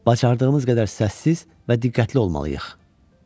Bacardığımız qədər səssiz və diqqətli olmalıyıq.